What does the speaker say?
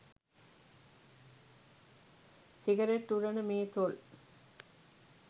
cigarette උරන මේ තොල්